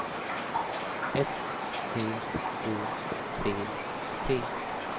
S T O P P